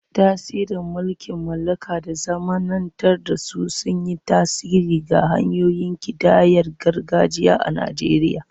Tasirin mulkin mallaka da zamanantar da su sun yi tasiri ga hanyoyin kidayar gargajiya a Najeriya.